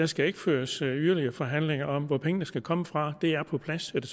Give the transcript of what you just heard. skal føres yderligere forhandlinger om hvor pengene skal komme fra det er på plads er det